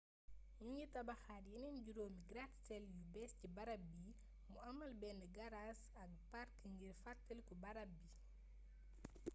ñu ngi tabaxaat yeneen juróomi gratte-ciel yu bees ci barab bi mu amaale benn gaaraas ak park ngir fàttaliku barab bi